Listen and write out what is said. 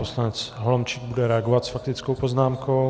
Poslanec Holomčík bude reagovat s faktickou poznámkou.